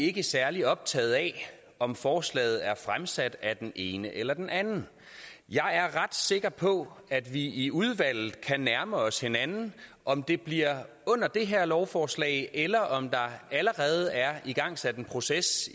ikke særlig optaget af om forslaget er fremsat af den ene eller den anden jeg er ret sikker på at vi i udvalget kan nærme os hinanden om det bliver i med det her lovforslag eller om der allerede er igangsat en proces